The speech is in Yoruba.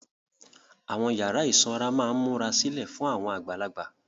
Àwọn yàrá ìsanra máa ń múra sílẹ̀ fún àgbàlagbà.